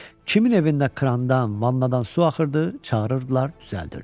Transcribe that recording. Kimin evində krandan, vannadan su axırdı, çağırırdılar, düzəldirdi.